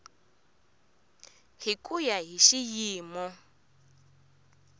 hi ku ya hi xiyimo